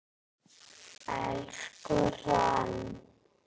Elsku Hrönn.